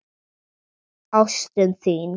Ástin þín!